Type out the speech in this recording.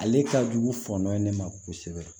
Ale ka jugu ye ne ma kosɛbɛ